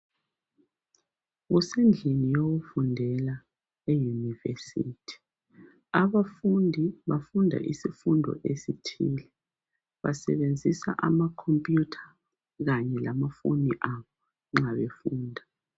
Kusendlini yokufundela eyunivesithi, abafundi bafunda isifundo esithile, basebenzisa amakhompuyutha kanye lamafoni abo nxa befunda.